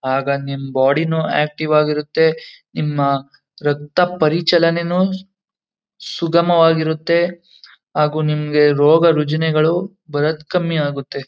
ಆಗ ನಿಮ್ ಬಾಡಿ ನೂ ಆಕ್ಟಿವ್ ಆಗಿ ಇರುತ್ತೆ ನಿಮ್ಮ ರಕ್ತ ಪರಿಚಲನೆನು ಸುಗಮವಾಗಿರುತ್ತೆ ಹಾಗು ನಿಮ್ಗೆ ರೋಗ ರುಜುನೆಗಳು ಬರದ್ ಕಮ್ಮಿ ಆಗುತ್ತೆ.